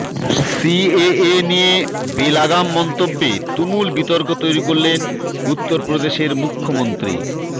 CAA নিয়ে বেলাগাম মন্তব্যে তুমুল বিতর্ক তৈরি করলেন উত্তরপ্রদেশের মুখ্যমন্ত্রী